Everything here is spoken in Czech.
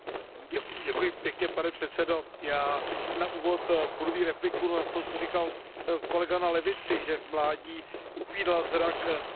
Pane předsedající, já na úvod budu mít repliku na to, co říkal kolega na levici, že v mládí upínal zrak k Ortegovi s nadějemi.